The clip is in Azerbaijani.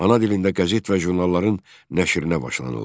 Ana dilində qəzet və jurnalların nəşrinə başlanıldı.